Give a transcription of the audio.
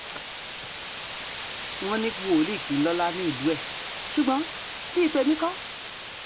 wọ́n ní wòlíì kì í lọ́lá nílùú ẹ̀ ṣùgbọ́n bíi tèmi kọ́